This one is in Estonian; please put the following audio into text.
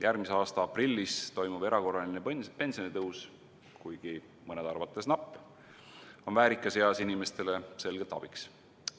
Järgmise aasta aprillis toimuv erakorraline pensionitõus, kuigi mõnede arvates napp, on väärikas eas inimestele selgelt abiks.